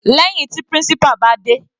Lẹ́hìn tí principal bá dé.